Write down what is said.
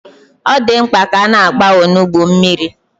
Ọ dị mkpa ka a na-agba onugbu mmiri?